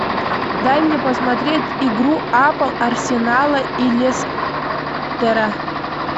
дай мне посмотреть игру апл арсенала и лестера